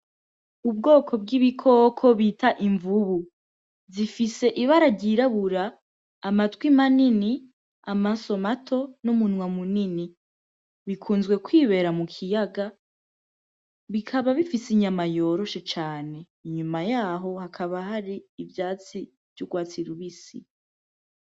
Ubwoko bw’ibikoko bita imvubu, zifise ibara ry’irabura, amatwi manini, amaso mato, n’umunwa munini. Bikunzwe kwibera mu kiyaga, bikaba bifise inyama yoroshe cane. Inyuma y’aho hakaba hari ivyatsi vy’urwatsi rubisi.